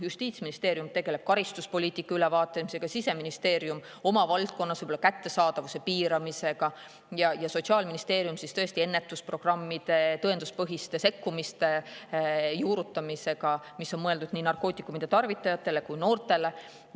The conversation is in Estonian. Justiitsministeerium tegeleb karistuspoliitika ülevaatamisega, Siseministeerium oma valdkonnas võib-olla kättesaadavuse piiramisega ja Sotsiaalministeerium ennetusprogrammide ja tõenduspõhiste sekkumiste juurutamisega, mis on mõeldud nii narkootikumide tarvitajatele kui ka noortele.